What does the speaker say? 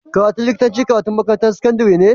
Karatun likitanci karatun makarantar sakandari ne